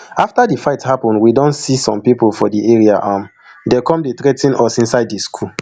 afta di fight happun we don don see some pipo for di area um dey come dey threa ten us inside di school